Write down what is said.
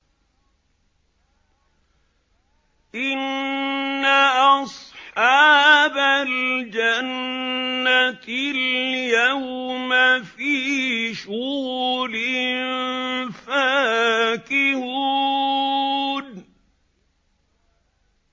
إِنَّ أَصْحَابَ الْجَنَّةِ الْيَوْمَ فِي شُغُلٍ فَاكِهُونَ